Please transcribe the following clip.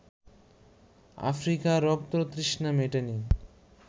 আফ্রিকার রক্ততৃষ্ণা মেটেনি